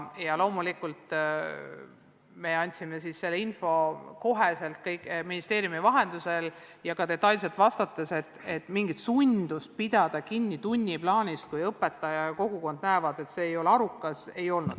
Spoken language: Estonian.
Loomulikult me andsime kohe ministeeriumi vahendusel ja ka detailselt vastates teada, et mingit sundi tunniplaanist kinni pidada ei ole, kui õpetaja ja kogukond näevad, et see ei ole arukas.